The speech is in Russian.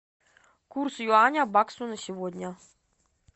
курс юаня к баксу на сегодня